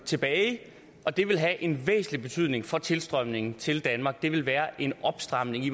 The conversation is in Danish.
tilbage og det vil have en væsentlig betydning for tilstrømningen til danmark det vil være en opstramning i